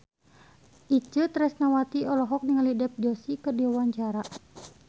Itje Tresnawati olohok ningali Dev Joshi keur diwawancara